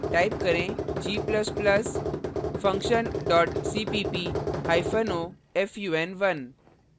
type करें g ++ function cppo fun1